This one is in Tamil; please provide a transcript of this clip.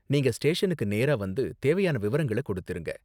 நீங்க ஸ்டேஷனுக்கு நேரா வந்து தேவையான விவரங்கள கொடுத்திருங்க.